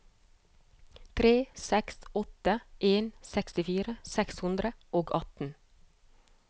tre seks åtte en sekstifire seks hundre og atten